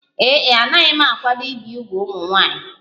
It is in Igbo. Ee e, anaghị m akwado ibi úgwù ụmụ nwanyị